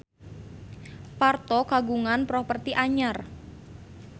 Parto kagungan properti anyar